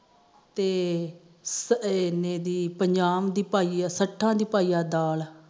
ਤੇ ਇਨੇ ਦੀ ਪਜਾਹ ਦੀ ਪਾਈਆ ਸੱਠਾ ਦੀ ਪਾਈਆ ਦਾਲ